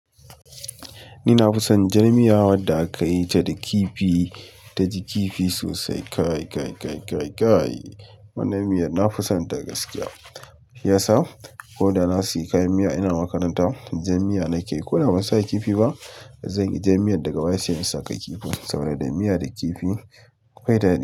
Ni na fi son jar miya da aka yita da kifi ta ji kifi sosai. Kai, kai, kai, kai, kai. Wannan miyar na fi son ta gaskiya. Ya sa, ko da na sayi kayan miya ina makaranta, jan miya na ke yi. Ko da ban sa kifi ba, zan yi jan miyar daga baya se in sa kan kifin, saboda miya da kifi akwai daɗi.